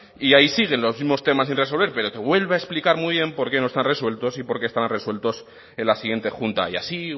y ahí siguen los mismos temas sin resolver pero te vuelve a explicar muy bien por qué no están resueltos y por qué estaban resueltos en la siguiente junta y así